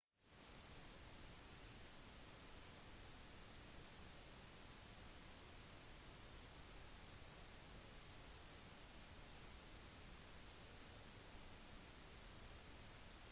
for ett år siden giftet paret seg i texas og reiste til buffalo for å feire sammen med venner og slektninger